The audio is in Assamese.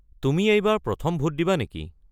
তুমি এইবাৰ প্ৰথম ভোট দিবা নেকি?